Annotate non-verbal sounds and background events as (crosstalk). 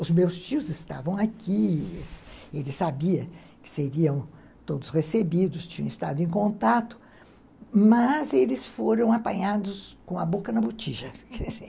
Os meus tios estavam aqui, eles sabiam que seriam todos recebidos, tinham estado em contato, mas eles foram apanhados com a boca na botija (laughs)